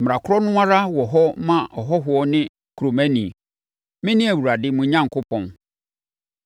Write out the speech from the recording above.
Mmara korɔ no ara wɔ hɔ ma ɔhɔhoɔ ne kuromani. Mene Awurade, mo Onyankopɔn.’ ”